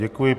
Děkuji.